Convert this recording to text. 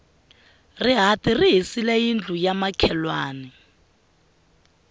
rihati ri hisile yindlu ya makhelwani